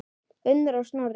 Unnur og Snorri.